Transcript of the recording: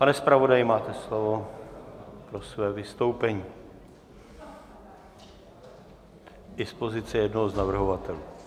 Pane zpravodaji, máte slovo pro své vystoupení - dispozice jednoho z navrhovatelů.